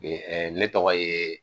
ne tɔgɔ ye